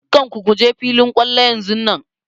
Dukkan ku kuje filin kwallo yanzunnan!